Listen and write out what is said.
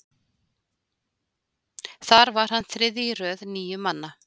þar var hann þriðji í röð níu manna